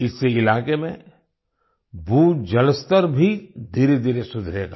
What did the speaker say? इससे इलाके में भूजल स्तर भी धीरेधीरे सुधरेगा